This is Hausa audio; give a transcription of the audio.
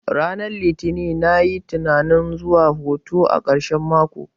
Ranar litini nayi tunanin zuwa hutu a karshen mako